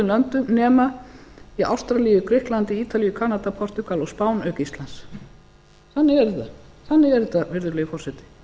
löndum nema í ástralíu grikklandi ítalíu kanada portúgal og spáni auk íslands þannig er þetta virðulegi forseti